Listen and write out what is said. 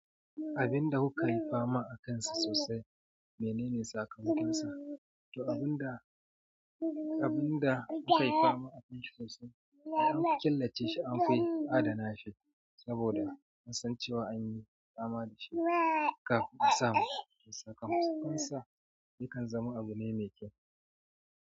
Abin da kuka yi fama akansa sosai menene sakamakonsa? To abin da, abin da muka yi fama akansa sosai ai anfi killace shi anfi adana shi saboda an san cewa anyi fama da shi kafin a samu sakamakonsa. Yakan zama abu ne mai kyau.